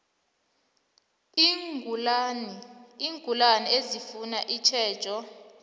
iingulani ezifuna itjhejo